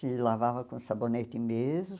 Se lavava com sabonete mesmo.